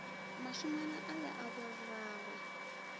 mašengwana a le a borragwe